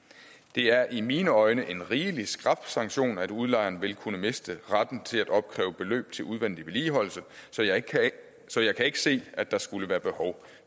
det er i mine øjne en rigelig skrap sanktion at udlejeren vil kunne miste retten til at opkræve beløb til udvendig vedligeholdelse så jeg så jeg kan ikke se at der skulle være behov